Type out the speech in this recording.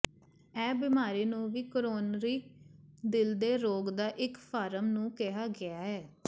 ਇਹ ਬਿਮਾਰੀ ਨੂੰ ਵੀ ਕੋਰੋਨਰੀ ਦਿਲ ਦੇ ਰੋਗ ਦਾ ਇੱਕ ਫਾਰਮ ਨੂੰ ਕਿਹਾ ਗਿਆ ਹੈ